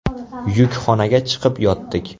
Yukxonaga chiqib yotdik.